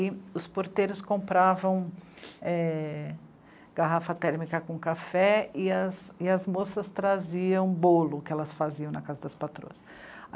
E os porteiros compravam é... garrafa térmica com café e as moças traziam bolo, que elas faziam na casa das patroas.